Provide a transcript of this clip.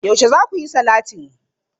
Yaushe za ku yi salatin?